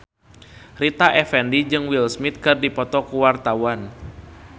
Rita Effendy jeung Will Smith keur dipoto ku wartawan